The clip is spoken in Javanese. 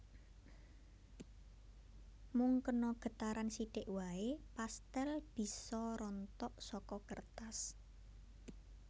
Mung kena getaran sithik waé pastèl bisa rontok saka kertas